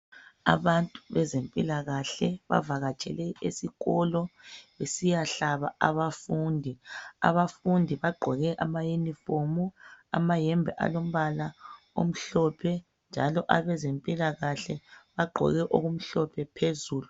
abantu bezempilakahle bavakatshele esikolobesiyahlaba abafundi abafundi bagqoke ama uniform amayembe alombala omhlophe njalo abezempilakahle bagqoke okumhlophe phezulu